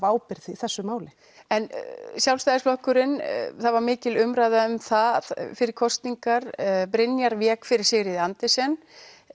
ábyrgð í þessu máli en Sjálfstæðisflokkurinn það var mikil umræða um það fyrir kosningar Brynjar vék fyrir Sigríði á Andersen